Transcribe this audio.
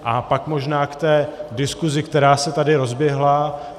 A pak možná k té diskusi, která se tady rozběhla.